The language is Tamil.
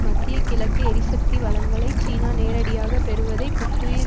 மத்திய கிழக்கு எரிசக்தி வளங்களை சீனா நேரடியாக பெறுவதைப் புத்துயிர்